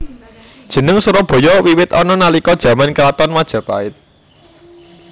Jeneng Surabaya wiwit ana nalika jaman kraton Majapahit